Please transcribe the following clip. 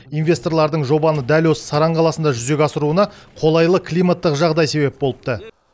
инвесторлардың жобаны дәл осы саран қаласында жүзеге асыруына қолайлы климаттық жағдай себеп болыпты